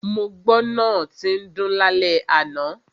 Mo gbọ́ náà tín dún lálẹ́ àná.